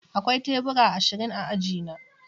Akwai tebura ashirin a aji na